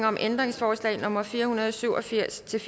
om ændringsforslag nummer fire hundrede og syv og firs til